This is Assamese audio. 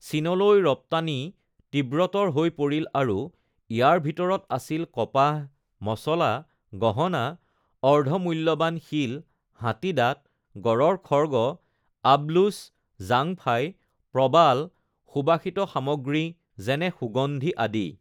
চীনলৈ ৰপ্তানি তীব্ৰতৰ হৈ পৰিল আৰু ইয়াৰ ভিতৰত আছিল কপাহ, মছলা, গহণা, অৰ্ধমূল্যবান শিল, হাতীদাঁত, গঁড়ৰ খৰ্গ, আবলুচ, জাংফাই, প্ৰবাল, সুবাসিত সামগ্ৰী যেনে সুগন্ধি আদি।